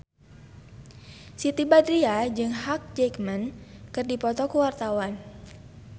Siti Badriah jeung Hugh Jackman keur dipoto ku wartawan